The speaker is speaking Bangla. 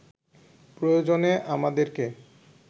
প্রয়োজনে আমাদেরকে